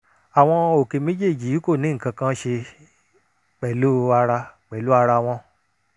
àwọn òkè méjèèjì yìí kò ní nǹkan kan ṣe pẹ̀lú ara pẹ̀lú ara wọn